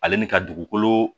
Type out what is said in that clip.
Ale ni ka dugukolo